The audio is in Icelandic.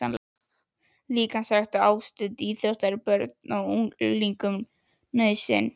Líkamsrækt og ástundun íþrótta er börnum og unglingum nauðsyn.